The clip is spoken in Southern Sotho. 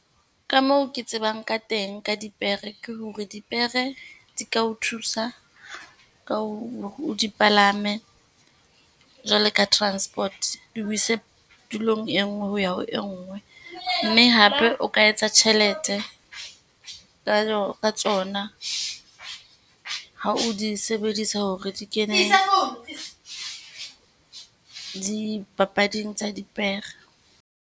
Ka moo ke tsebang ka teng ka dipere, ke hore dipere di ka o thusa ka hore o di palame. Jwalo ka transport, di o ise tulong e nngwe ho ya ho e nngwe. Mme hape o ka etsa tjhelete ka ka tsona ha o di sebedisa hore di kene dipapading tsa dipere.